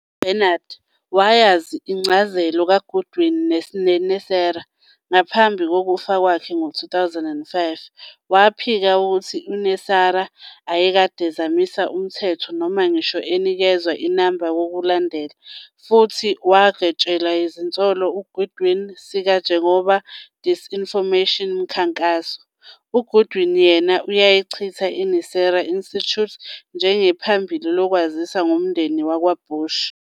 UBarnard wayazi incazelo kaGoodwin yeNESARA ngaphambi kokufa kwakhe ngo-2005. Waphika ukuthi NESARA ayekade zamisa umthetho noma ngisho inikezwa inamba kokulandela, futhi wagwetshelwa izinsolo Goodwin sika njengoba disinformation mkhankaso. UGoodwin, yena, uyayichitha iNESARA Institute njengephambili lokwazisa ngomndeni wakwaBush.